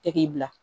Tɛ k'i bila